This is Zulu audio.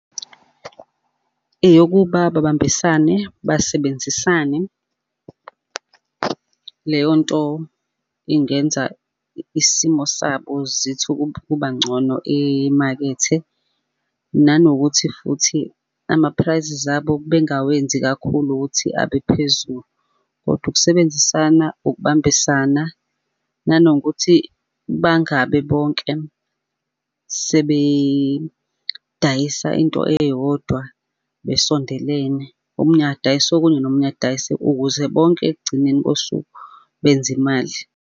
Eyokuba babambisane basebenzisane. Leyo nto ingenza isimo sabo zithi ukuba ncono emakethe. Nanokuthi futhi, ama-prices abo bengawenzi kakhulu ukuthi abe phezulu, kodwa ukusebenzisana, ukubambisana. Nanokuthi bangabi bonke sebedayisa into eyodwa besondelene, omunye adayise okunye nomunye adayise, ukuze bonke ekugcineni kosuku benze imali.